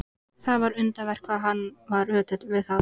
Það var undravert hvað hann var ötull við það.